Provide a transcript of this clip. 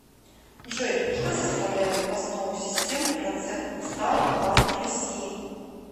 джой что составляет основу системы процентных ставок банка россии